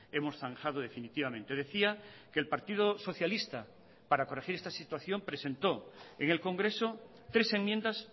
hemos zanjado definitivamente decía que el partido socialista para corregir esta situación presentó en el congreso tres enmiendas